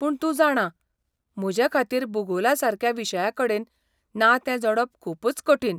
पूण तूं जाणां, म्हजेखातीर भुगोलासारक्या विशयाकडेन नातें जोडप खूबच कठीण.